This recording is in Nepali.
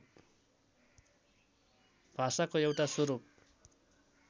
भाषाको एउटा स्वरूप